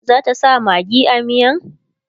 zata sa maggi a miyan?